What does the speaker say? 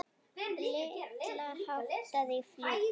Lilla háttaði í flýti.